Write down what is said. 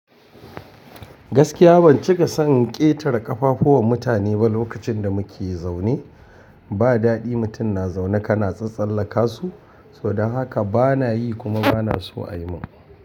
Gaskiya ban cika son ƙetare ƙafafu wa mutane ba lokacin da muke zaune. Ba daɗi mutum na zaune ka na tsatsalla ka su, so don haka bana yi kuma bana so a yi min.